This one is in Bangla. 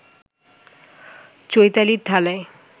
চৈতালির থালায়